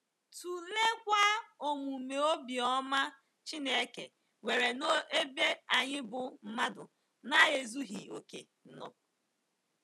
Tụleekwa omume obiọma Chineke nwere n’ebe anyị bụ́ mmadụ na-ezughị okè nọ.